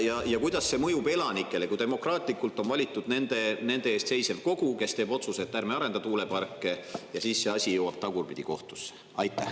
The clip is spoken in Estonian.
Ja kuidas see mõjub elanikele, kui demokraatlikult on valitud nende eest seisev kogu, kes teeb otsuse, et ärme arendame tuuleparke, ja siis see asi jõuab tagurpidi kohtusse?